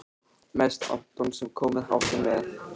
Mest Anton sem komið hafði með